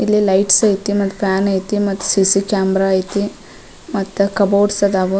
ಇಲ್ಲಿ ಲೈಟ್ಸ್ ಐತಿ ಮತ್ತ ಫ್ಯಾನ್ ಐತಿ ಮತ್ತ್ ಸಿ.ಸಿ ಕ್ಯಾಮ್ರ ಐತಿ ಮತ್ತ್ ಕಬೋರ್ಡ್ಸ್ ಅದಾವು.